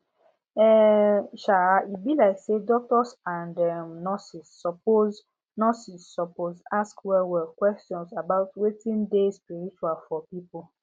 e um be like say doctors and um nurses suppose nurses suppose ask wellwell question about wetin dey spiritual for people